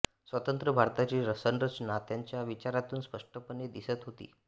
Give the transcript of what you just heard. स्वतंत्र भारताची संरचना त्यांच्या विचारातून स्पष्ट पणे दिसत होती